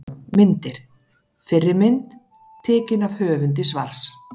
Myndir: Fyrri mynd: Tekin af höfundi svars.